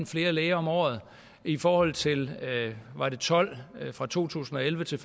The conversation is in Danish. flere læger om året i forhold til tolv var det vist fra to tusind og elleve til